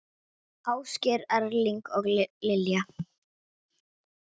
Ásgeir Erling og Lilja.